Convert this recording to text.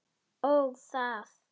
Ó, það.